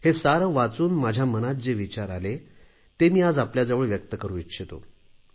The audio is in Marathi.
ते सारे वाचून माझ्या मनात जे विचार आले ते मी आज आपल्याजवळ व्यक्त करू इच्छितो